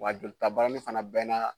Wa jolitabarani fana bɛɛ na